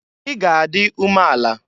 I ga adị umeala!